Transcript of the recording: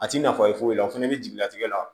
A ti nafa foyi la o fana bɛ jigi latigɛ la